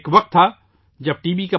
ایک وقت تھا جب ٹی بی